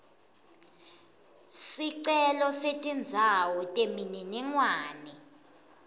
sicelo setindzawo temininingwane